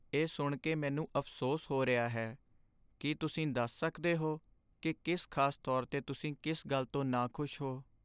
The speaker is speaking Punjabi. ਇਹ ਸੁਣ ਕੇ ਮੈਨੂੰ ਅਫ਼ਸੋਸ ਹੋ ਰਿਹਾ ਹੈ। ਕੀ ਤੁਸੀਂ ਦੱਸ ਸਕਦੇ ਹੋ ਕਿ ਕਿਸ ਖਾਸ ਤੌਰ 'ਤੇ ਤੁਸੀਂ ਕਿਸ ਗੱਲ ਤੋਂ ਨਾਖੁਸ਼ ਹੋ?